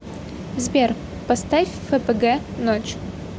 сбер поставь ф п г ночь